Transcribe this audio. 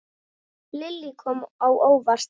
Lillý: Kom á óvart?